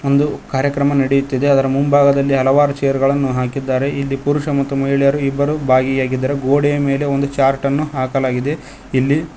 ಒಂದು ಕಾರ್ಯಕ್ರಮ ನಡೆಯುತ್ತಿದೆ ಅದರ ಮುಂಭಾಗದಲ್ಲಿ ಹಲವಾರು ಚೇರ್ಗಳನ್ನು ಹಾಕಿದ್ದಾರೆ ಇಲ್ಲಿ ಪುರುಷರು ಮತ್ತು ಮಹಿಳೆಯರು ಇಬ್ಬರು ಭಾಗಿಯಾಗಿದ್ದಾರೆ ಗೋಡೆಯ ಮೇಲೆ ಒಂದು ಚಾರ್ಟನ್ನು ಹಾಕಲಾಗಿದೆ ಇಲ್ಲಿ --